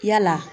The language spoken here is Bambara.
Yala